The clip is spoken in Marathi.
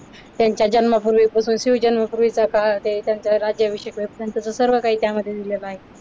त्यांचा जन्म शिवजन्मा पूर्वीचा काळ त्यांचा राज्याभिषेक त्यांच्या सर्व काही त्यामध्ये दिलेल आहे.